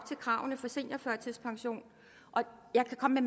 kravene for seniorførtidspension og jeg kan komme